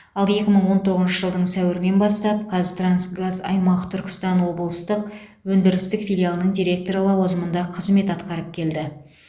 ал екі мың он тоғызыншы жылдың сәуірінен бастап қазтрансгаз аймақ түркістан облыстық өндірістік филиалының директоры лауазымында қызмет атқарып келді